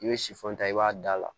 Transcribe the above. I bɛ sifo ta i b'a da la